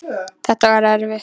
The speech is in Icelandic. Þetta var erfitt.